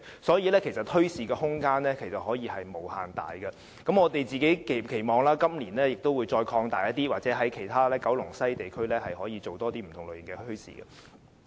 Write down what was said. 所以，墟市的空間其實是可以無限大的，我們亦期望今年的墟市會繼續擴大，或在九龍西其他地區舉辦更多不同類型的墟市。